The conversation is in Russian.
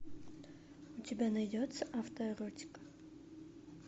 у тебя найдется авто эротика